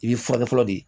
I b'i furakɛ fɔlɔ de